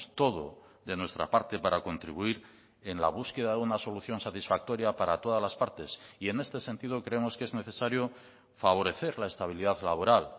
todo de nuestra parte para contribuir en la búsqueda de una solución satisfactoria para todas las partes y en este sentido creemos que es necesario favorecer la estabilidad laboral